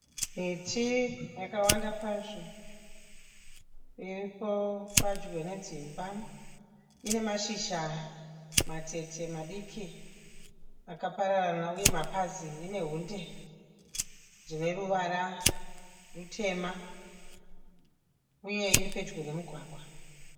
Miti yakawanda kwazvo iripo padyo nedzimba. Ine mashizha matete madiki akapararana uye mapazi ine hunde dzine ruvara rutema uye iri pedyo nemugwagwa.